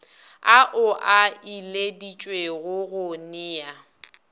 ao a ileditšwego go nea